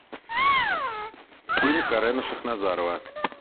фильм карена шахназарова